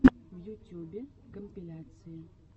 в ютюбе компиляции